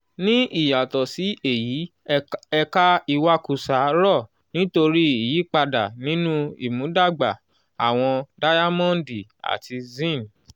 ní ìyàtọ̀ sí èyí ẹ̀ka ìwakùsà rọ̀ nítorí ìyípadà nínú ìmúdàgba àwọn dáyámọ́ǹdì àti zine.